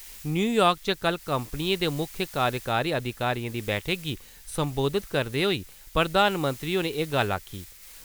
New York च कल कंपनिएं दे मुक्ख कार्यकारी अधिकारियें दी बैठक गी संबोधित करदे होई प्रधानमंत्री होरें एह् गल्ल आक्खी ।